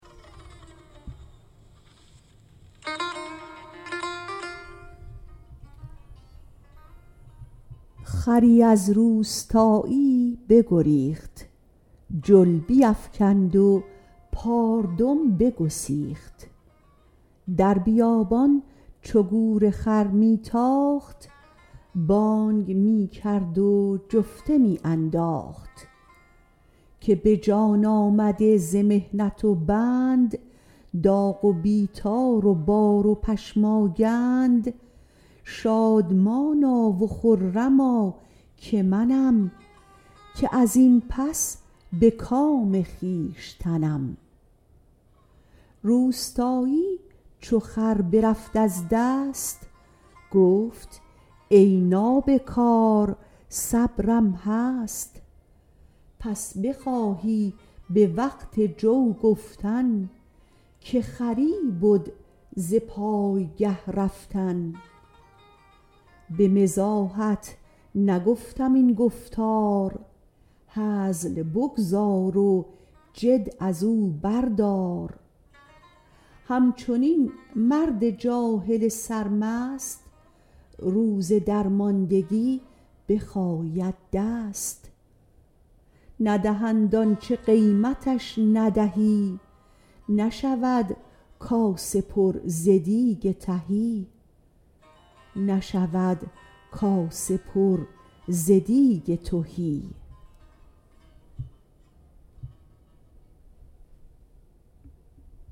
خری از روستاییی بگریخت جل بیفکند و پاردم بگسیخت در بیابان چو گور خر می تاخت بانگ می کرد و جفته می انداخت که به جان آمده ز محنت و بند داغ و بیطار و بار و پشماگند شادمانا و خرما که منم که ازین پس به کام خویشتنم روستایی چو خر برفت از دست گفت ای نابکار صبرم هست پس بخواهی به وقت جو گفتن که خری بد ز پایگه رفتن به مزاحت نگفتم این گفتار هزل بگذار و جد ازو بردار همچنین مرد جاهل سرمست روز درماندگی بخاید دست ندهند آنچه قیمتش ندهی نشود کاسه پر ز دیگ تهی